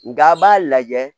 Nga a b'a lajɛ